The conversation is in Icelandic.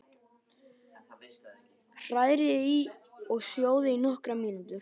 Hrærið í og sjóðið í nokkrar mínútur.